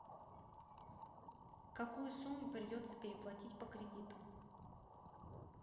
какую сумму придется переплатить по кредиту